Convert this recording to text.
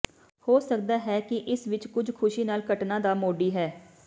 ਹੋ ਸਕਦਾ ਹੈ ਕਿ ਇਸ ਵਿੱਚ ਕੁਝ ਖ਼ੁਸ਼ੀ ਨਾਲ ਘਟਨਾ ਦਾ ਮੋਢੀ ਹੈ